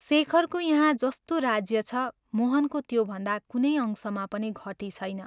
शेखरको यहाँ जस्तो राज्य छ, मोहनको त्यो भन्दा कुनै अंशमा पनि घटी छैन।